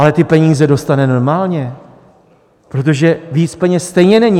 Ale ty peníze dostane normálně, protože víc peněz stejně není.